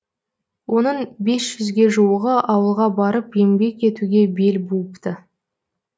оның бес жүзге жуығы ауылға барып еңбек етуге бел буыпты